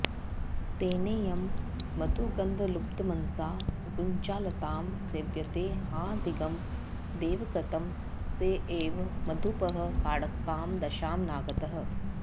तेनेयं मधुगन्धलुब्धमनसा गुञ्जालतां सेव्यते हा धिग् दैवकृतं सएव मधुपः काङ्कां दशां नागतः